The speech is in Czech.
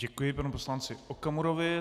Děkuji panu poslanci Okamurovi.